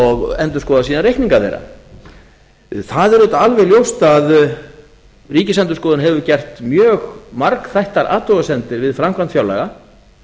og endurskoða síðan reikninga þeirra það er auðvitað alveg ljóst að ríkisendurskoðun hefur gert mjög margþættar athugasemdir við framkvæmd fjárlaga